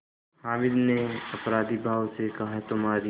हामिद ने अपराधीभाव से कहातुम्हारी